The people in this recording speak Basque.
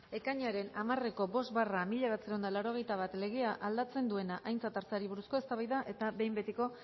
ekainaren hamareko bost barra mila bederatziehun eta laurogeita bat legea aldatzen duena aintzat hartzeari buruzko eztabaida eta behin betiko